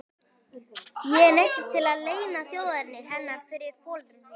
Ég neyddist til að leyna þjóðerni hennar fyrir foreldrum mínum.